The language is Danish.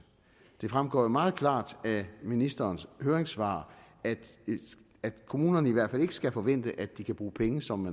det fremgår jo meget klart af ministerens høringssvar at kommunerne i hvert fald ikke skal forvente at de kan bruge penge som